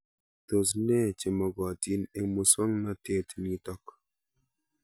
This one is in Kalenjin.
Tos nee chemakatin eng' muswognatet nitok